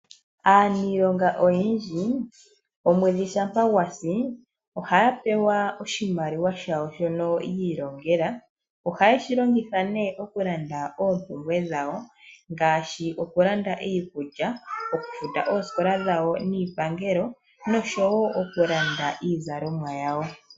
Aaniilonga oyendji omwedhi ngele gwa si ohaya pewa oshimaliwa shawo shono yi ilongela. Ohaye shi longitha okulanda oompumbwe dhawo ngaashi iikulya, okufuta oosikola niipangelo nosho woo okulanda iizalomwa yawo.